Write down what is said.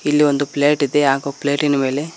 ಇಲ್ಲಿ ಒಂದು ಪ್ಲೇಟಿದೆ ಹಾಗೂ ಪ್ಲೇಟಿನ ಮೇಲೆ--